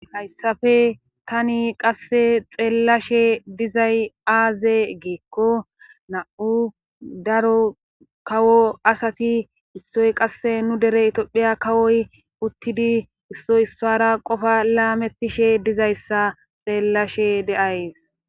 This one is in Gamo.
Hayssappe tani qasse xeellashshe dizay aaze geekko na'u daro kawo asati issoy qasse nu dere tophphiya kawoy uttidi issoy issara qofa laamettishshe dizayssa xeellashshe de'ays